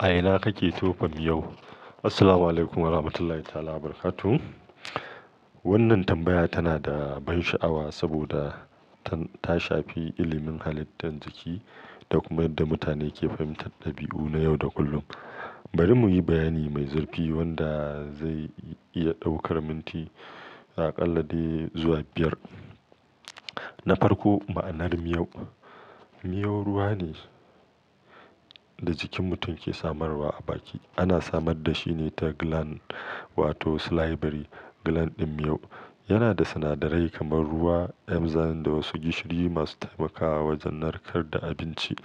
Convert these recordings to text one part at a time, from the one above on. A ina kake tofa miyau? Assalamualaikum Warahmatullahi Ta'ala Wabarakatuh. Wannan tambaya tana da ban sha'awa saboda ta shafi ilimin halittar jiki da kuma yadda mutane ke fahimtar ɗabi'u na yau da kullum. Bari mu yi bayani mai zurfi wanda zai iya ɗaukar minti a ƙalla dai zuwa biyar. Na farko, ma'anar miyau. Miyau ruwa ne da jikin mutum ke samarwa a baki. Ana samar da shi ne ta gland wato salivary gland ɗin miyau. Yana da sinadarai kamar ruwa, enzymes da wasu gishiri masu taimakawa wajen narkar da abinci.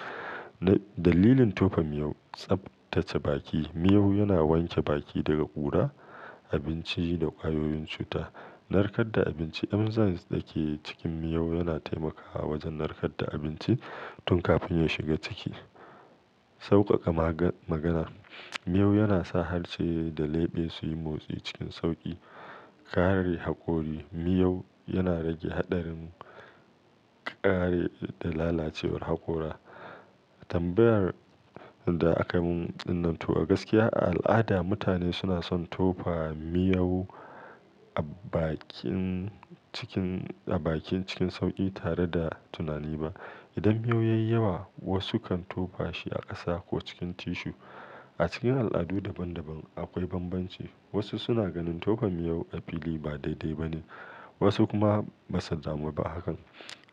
Dalilin tofa miyau, tsabtace baki. Miyau yana wanke baki daga ƙura, abinci da ƙwayoyin cuta. Narkar da abinci. Enzymes da ke cikin miyau yana taimakawa wajen narkar da abinci tun kafin ya shiga ciki. Saukaka magana. Miyau yana sa harshe da leɓe su yi motsi cikin sauƙi. Kare hakori. Miyau yana rage haɗarin ƙare da lalacewar hakora. Tambayar da aka mun ɗin nan to a gaskiya, a al'ada mutane suna son tofa miyau a bakin cikin, a bakin cikin sauƙi tare da tunani ba. Idan miyau ya yi yawa, wasu kan tofa shi a ƙasa ko cikin tissue. A cikin al'adu daban-daban akwai banbanci. Wasu suna ganin tofa miyau a fili ba daidai ba ne, wasu kuma ba su damu ba a kan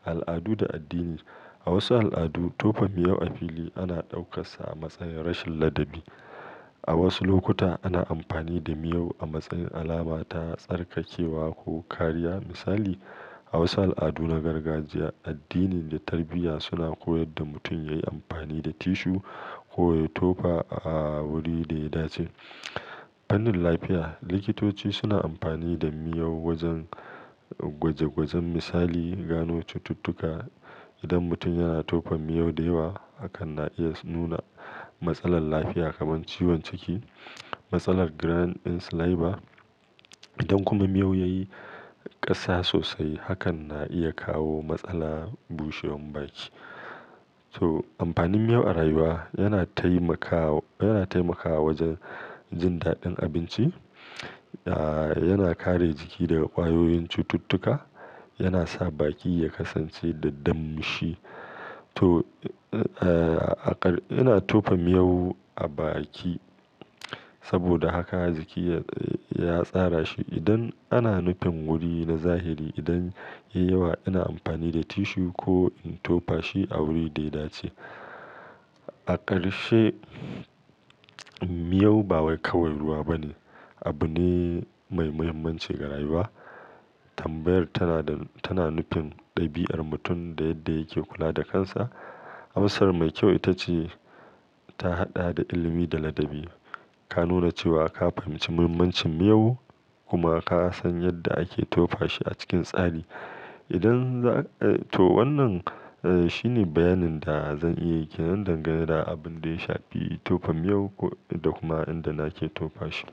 al'adu da addini. A wasu al'adu tofa miyau a fili ana ɗaukarsa a matsayin rashin ladabi. A wasu lokuta ana amfani da miyau a matsayin alama ta tsarkakewa ko kariya. Misali, a wasu al'adu na gargajiya, addini da tarbiyya suna koyad da mutum ya yi amfani da tissue ko ya tofa a wuri da ya dace. Fannin lafiya, likitoci suna amfani da miyau wajen gwaje-gwajen misali gano cututtuka. Idan mutum yana tofa miyau da yawa, hakan na iya nuna matsalar lafiya kamar ciwon ciki, matsalar gland ɗin saliva. Idan kuma miyau ya yi ƙasa sosai, hakan na iya kawo matsala bushewan baki. To amfanin miyau a rayuwa yana taimakawa, yana taimakawa wajen jin daɗin abinci, ah, yana kare jiki daga ƙwayoyin cututtuka, yana sa baki ya kasance da damshi. To, a ƙar ina tofa miyau a baki saboda haka jiki ya tsara shi. Idan ana nufin wuri na zahiri, idan ya yi yawa ina amfani da tissue ko in tofa shi a wuri da ya dace. A ƙarshe, miyau ba wai kawai ruwa ba ne, abu ne mai muhimmanci ga rayuwa. Tambayar tana da, tana nufin ɗabi'ar mutum da yadda yake kula da kansa. Amsar mai kyau ita ce ta haɗa da ilimi da ladabi. Ka nuna cewa ka fahimci muhimmancin miyau kuma ka san yadda ake tofa shi a cikin tsari. Idan za, to wannan shi ne bayanin da zan iya yi kenan dangane da abin da ya shafi tofa miyau da kuma inda nake tofa shi.